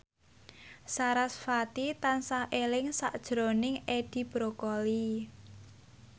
sarasvati tansah eling sakjroning Edi Brokoli